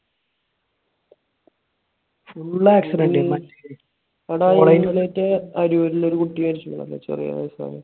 full accident തന്നെ. എടാ, ഇന്ന് മറ്റേ അരൂരിൽ ഒരു കുട്ടി മരിച്ചൂന്ന് പറഞ്ഞില്ലേ? ചെറിയ വയസ്സുള്ള.